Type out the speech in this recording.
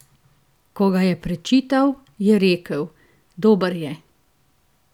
Ko ga je prečital, je rekel: "Dober je.